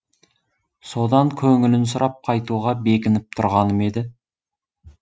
содан көңілін сұрап қайтуға бекініп тұрғаным еді